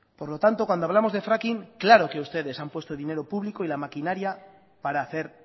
por lo tanto cuando hablamos de fracking claro que ustedes han puesto dinero público y la maquinaria para hacer